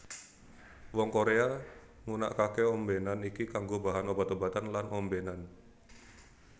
Wong Korea ngunakake ombenan iki kanggo bahan obat obatan lan ombenan